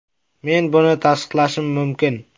Men buni tasdiqlashim mumkin.